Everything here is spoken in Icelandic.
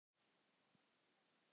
Og af hverju.